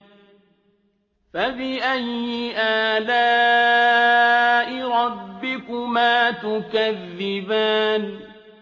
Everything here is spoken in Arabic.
فَبِأَيِّ آلَاءِ رَبِّكُمَا تُكَذِّبَانِ